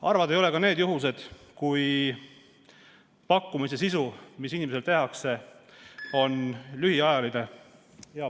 Harvad ei ole needki juhtumid, kui pakkumine, mis inimesele tehakse, kehtib ainult lühikest aega ...